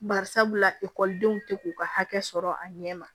Bari sabula ekɔlidenw tɛ k'u ka hakɛ sɔrɔ a ɲɛ ma